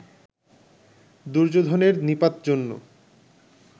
দুর্যোধনের নিপাত জন্য